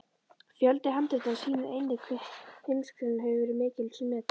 Fjöldi handritanna sýnir einnig hve Heimskringla hefur verið mikils metin.